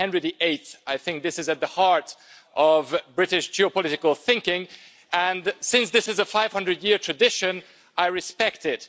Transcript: Since Henry VIII, I think, this has been at the heart of British geopolitical thinking and, since this is a 500-year tradition, I respect it.